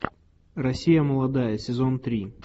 россия молодая сезон три